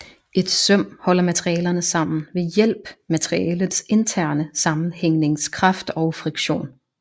Et søm holder materialerne sammen ved hjælp materialets interne sammenhængningskraft og friktion